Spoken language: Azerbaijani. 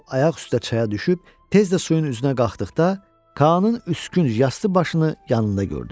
O ayaq üstə çaya düşüb tez də suyun üzünə qalxdıqda, Kaanın üskünc yaslı başını yanında gördü.